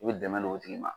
I bɛ dɛmɛ don o tigi ma